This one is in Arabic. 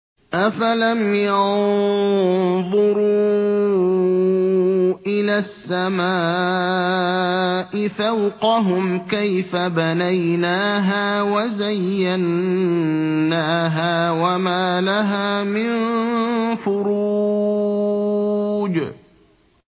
أَفَلَمْ يَنظُرُوا إِلَى السَّمَاءِ فَوْقَهُمْ كَيْفَ بَنَيْنَاهَا وَزَيَّنَّاهَا وَمَا لَهَا مِن فُرُوجٍ